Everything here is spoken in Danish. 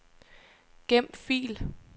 Gem fil.